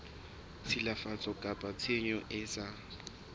tshilafatso kapa tshenyo e sa